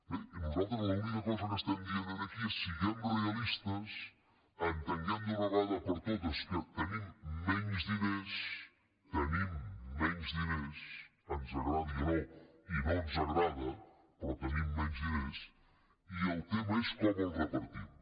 bé i nosaltres l’única cosa que diem aquí és siguem realistes entenguem d’una vegada per totes que tenim menys diners tenim menys diners ens agradi o no i no ens agrada però tenim menys diners i el tema és com els repartim